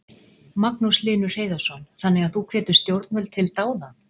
Magnús Hlynur Hreiðarsson: Þannig að þú hvetur stjórnvöld til dáða?